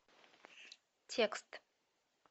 текст